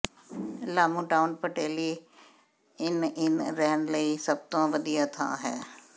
Lamu town Petley inn ਇਨ ਰਹਿਣ ਲਈ ਸਭ ਤੋਂ ਵਧੀਆ ਥਾਂ ਹੈ